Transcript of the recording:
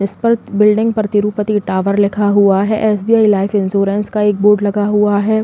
इस पर बिल्डिंग पर तिरुपति टावर लिखा हुआ है। एस.बी.आई लाइफ इन्स्योरंस का एक बोर्ड लगा हुआ है।